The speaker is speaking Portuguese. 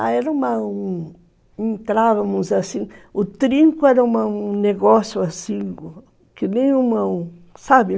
Ah, era uma um... Entrávamos assim... O trinco era um negócio assim, que nem uma... Sabe?